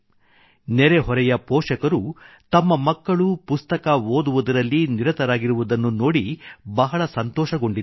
ನೆರೆಹೊರೆಯ ಪೋಷಕರು ತಮ್ಮ ಮಕ್ಕಳು ಪುಸ್ತಕ ಓದುವುದರಲ್ಲಿ ನಿರತರಾಗಿರುವುದನ್ನು ನೋಡಿ ಬಹಳ ಸಂತೋಷಗೊಂಡಿದ್ದಾರೆ